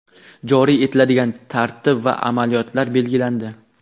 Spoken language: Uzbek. joriy etiladigan tartib va amaliyotlar belgilandi.